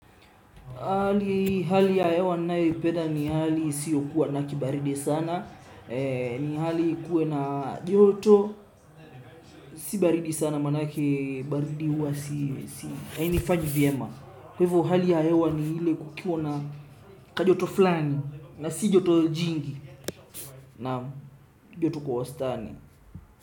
Hali ya hewa ninayo ipenda ni hali isiyo kuwa na kibaridi sana, ni hali ikuwe na joto, si baridi sana manake baridi huwa, hainifanyi vyema. Kwa hivyo hali ya hewa ni ile kukiwa na kajoto flani, na si joto jingi, naam joto kwa wastani.